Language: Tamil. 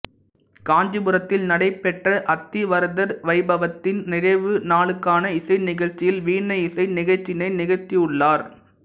காஞ்சிபுரத்தில் நடைபெற்ற அத்திவரதர் வைபவத்தின் நிறைவு நாளுக்கான இசை நிகழ்ச்சியில் வீணை இசை நிகழ்ச்சியினை நிகழ்த்தியுள்ளார்